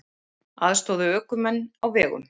Aðstoða ökumenn á vegum